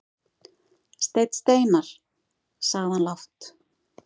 Steinn Steinarr, sagði hann lágt.